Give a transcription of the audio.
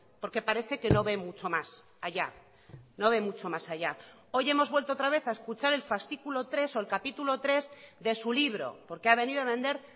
porque parece que no ve mucho más allá no ve mucho más allá hoy hemos vuelto otra vez a escuchar el fascículo tres o el capítulo tres de su libro porque ha venido a vender